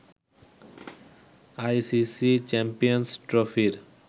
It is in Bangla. আইসিসি চ্যাম্পিয়ন্স ট্রফির